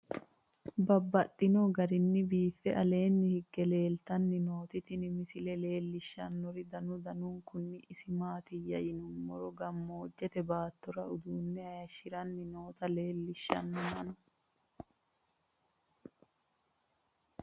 Babaxxittinno garinni biiffe aleenni hige leelittannotti tinni misile lelishshanori danu danunkunni isi maattiya yinummoro gamoojjette baattora uduunne hayishshiranni nootti leelittanno mannu